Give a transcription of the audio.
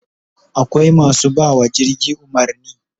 Akwai masu bawa jirgi umarni